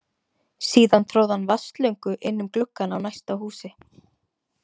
Síðan tróð hann vatnsslöngu inn um gluggann á næsta húsi.